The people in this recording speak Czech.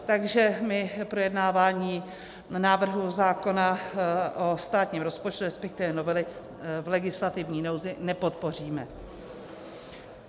Takže my projednávání návrhu zákona o státním rozpočtu, respektive novely v legislativní nouzi, nepodpoříme.